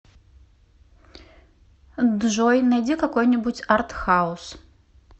джой найди какой нибудь артхаус